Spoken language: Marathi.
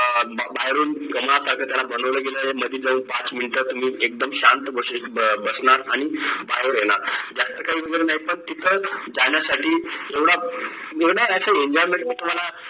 बाहेरून कमळासारखे त्याला बनवले गेलेलं आहे मधी जाऊन पाच मिनटं तुम्ही एकदम शांत बसू बसणार आणि बाहेर येणार जास्त काही पण तिथं जाण्यासाठी एवढा enjoyment मी तुम्हाला